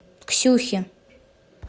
ксюхи